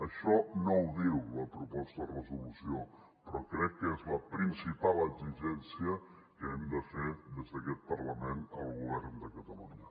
això no ho diu la proposta de resolució però crec que és la principal exigència que hem de fer des d’aquest parlament al govern de catalunya